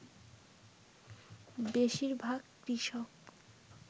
বেশীরভাগ কৃষক